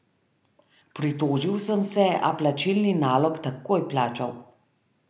Pritožil sem se, a plačilni nalog takoj plačal.